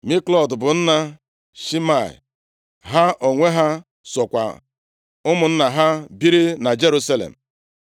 Miklot bụ nna Shimeam. Ha onwe ha sokwa ụmụnna ha biri na Jerusalem.